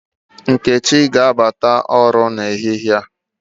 Nkechi ga-abata ọrụ ehịhie